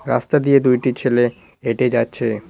রাস্তা দিয়ে দুইটি ছেলে হেঁটে যাচ্ছে।